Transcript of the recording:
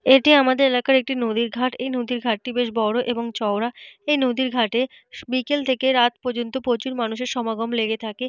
এটি আমাদের এলাকার একটি নদীর ঘাট। এই নদীর ঘাটটি বেশ বড় এবং চওড়া। এই নদীর ঘাটে স বিকেল থেকে রাত পর্যন্ত প্রচুর মানুষের সমাগম লেগে থাকে।